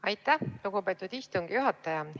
Aitäh, lugupeetud istungi juhataja!